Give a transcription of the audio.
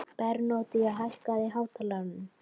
Bernódía, hækkaðu í hátalaranum.